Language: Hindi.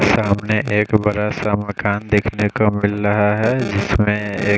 सामने एक बड़ा सा मकान देखने को मिल रहा है जिसमें एक--